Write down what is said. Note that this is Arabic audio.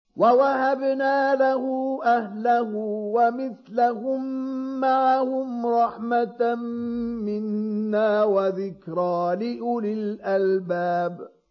وَوَهَبْنَا لَهُ أَهْلَهُ وَمِثْلَهُم مَّعَهُمْ رَحْمَةً مِّنَّا وَذِكْرَىٰ لِأُولِي الْأَلْبَابِ